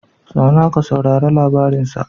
Zauna ka saurari labarin sa